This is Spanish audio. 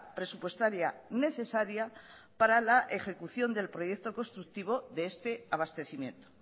presupuestaria necesaria para la ejecución del proyecto constructivo de este abastecimiento